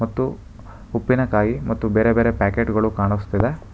ಮತ್ತು ಉಪ್ಪಿನಕಾಯಿ ಮತ್ತು ಬೇರೆ ಬೇರೆ ಪ್ಯಾಕೆಟ್ ಗಳು ಕಾಣಿಸ್ತಿವೆ.